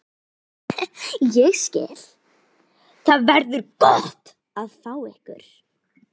Ég skil- Það verður gott að fá ykkur.